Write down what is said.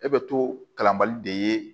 E bɛ to kalanbali de ye